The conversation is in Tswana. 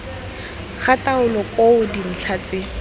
ga taolo koo dintlha tse